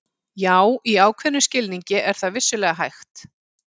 Já, í ákveðnum skilningi er það vissulega hægt.